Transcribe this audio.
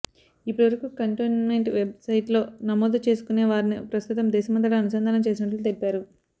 ఇప్పటివరకు cantonment వెబ్సైట్లో నమోదు చేసుకునే వారని ప్రస్తుతం దేశమంతటా అనుసంధానం చేసినట్లు తెలిపారు